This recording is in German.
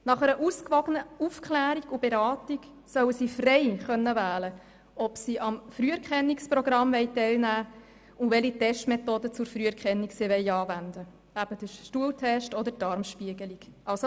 Nach einer ausgewogenen Aufklärung und Beratung sollen sie frei wählen können, ob sie am Früherkennungsprogramm teilnehmen wollen und welche Testmethode zur Früherkennung – den Stuhltest oder die Darmspiegelung – sie anwenden lassen wollen.